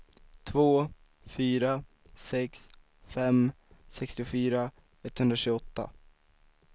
två fyra sex fem sextiofyra etthundratjugoåtta